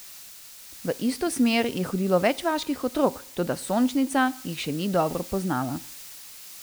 V isto smer je hodilo več vaških otrok, toda Sončnica jih še ni dobro poznala.